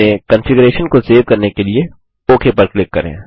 अपने कंफिगरेशन को सेव करने के लिए ओक पर क्लिक करें